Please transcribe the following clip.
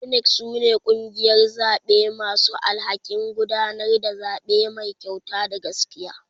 INEC sune kungiyar zaɓe masu alhakin gudanar da zaɓe Mai kyauta da gaskiya.